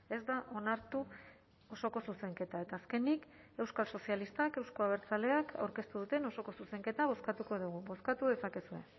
ez da onartu osoko zuzenketa eta azkenik euskal sozilistak euzko abertzaleak aurkeztu duten osoko zuzenketa bozkatuko dugu bozkatu dezakezue